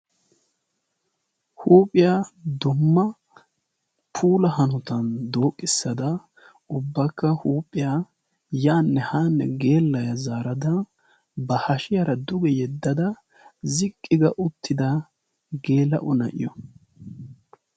huuphiyaa dumma puulahanotan dooqqissada ubbakka huuphiyaa yaanne haanne geellaa zaarada ba hashiyaara duge yeddada ziqqi ga uttida geela ona'iyo